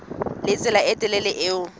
le tsela e telele eo